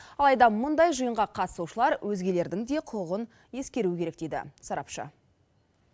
алайда мұндай жиынға қатысушылар өзгелердің де құқығын ескеруі керек дейді сарапшы